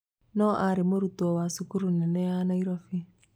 No arĩ mũrutwo wa cukuru nene ya Nairobi